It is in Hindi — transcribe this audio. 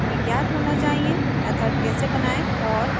मेथड कैसे बनाएँ और